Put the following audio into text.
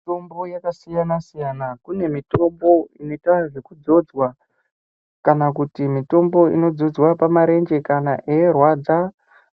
Mitombo yakasiyana siyana kune mitombo inoita kana mitombo inozodzwa pamarenje